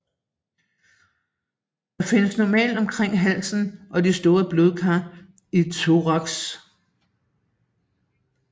Det findes normalt omkring halsen og de store blodkar i thorax